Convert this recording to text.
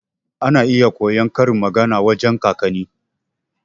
Ana iya koyon karin magana wajan kakanni.